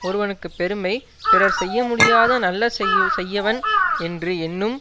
ஒருவனுக்கு பெருமை பிறர் செய்ய முடியாத நல்ல செய்யவன் என்று எண்ணும்